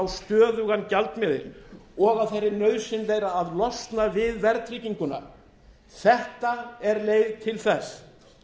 stöðugan gjaldmiðil og af þeirri nauðsyn beri að losna við verðtrygginguna þetta er leið til þess